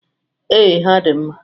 Ee, ha dị mma.